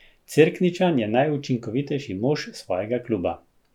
Cerkničan je najučinkovitejši mož svojega kluba.